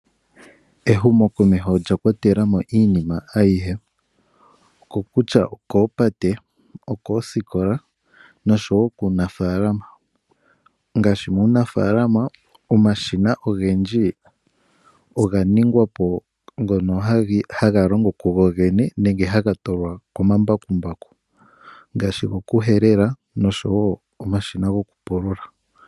Ehumokoheho olya kwatelamo iinima ayihe okutya okoopate okoosikola noshowo kuunafaalama ngaashi nuunafalama omashima ogendji oga ningwa po ngono haga longo kugo gene nenge ha tulwa komambakukumbaku ngaashi gokuhelela oshowo omashina gokupulula.